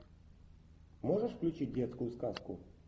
можешь включить детскую сказку